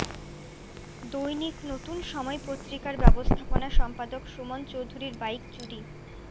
দৈনিক নতুন সময় পত্রিকার ব্যবস্থাপনা সম্পাদক সুমন চৌধুরীর বাইক চুরি